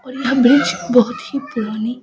और यह बेंच बहुत ही पुरानी --